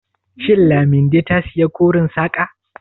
Shin Laminde ta saya koren saƙa?